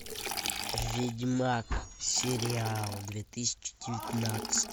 ведьмак сериал две тысячи девятнадцать